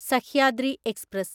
Sahyadri express